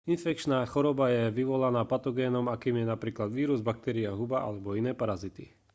infekčná choroba je vyvolaná patogénom akým je napríklad vírus baktéria huba alebo iné parazity